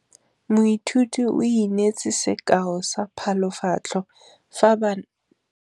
Moithuti o neetse sekaô sa palophatlo fa ba ne ba ithuta dipalo.